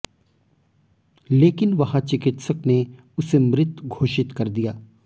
लेकिन वहां चिकित्सक ने उसे मृत घोषित कर दिया